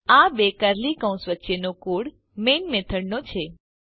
આ બે કર્લી કૌંસ વચ્ચેનો કોડ મેઇન મેથડનો છે